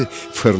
fırlandı.